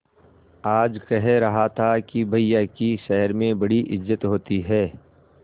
आज कह रहा था कि भैया की शहर में बड़ी इज्जत होती हैं